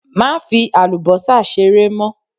Má fi àlùbọ́sà ṣeré mọ!